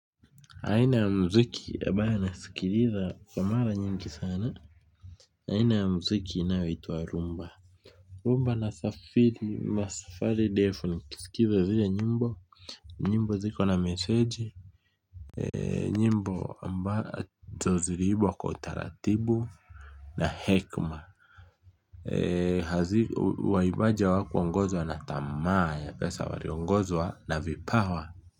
Aina ya muziki ambayo nasikiliza kwa mara nyingi sana aina ya muziki inayoitwa rhumba. Rhumba nasafiri masafari ndefu nikisikiza zile nyimbo, nyimbo ziko na meseji nyimbo ambazo ziliimbwa kwa utaratibu na hekima waimbaja hawakuongozwa na tamaa ya pesa waliongozwa na vipawa.